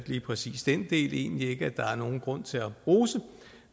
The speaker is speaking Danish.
lige præcis den del synes jeg egentlig ikke der er nogen grund til at rose